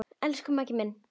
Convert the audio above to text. Elsku Maggi minn.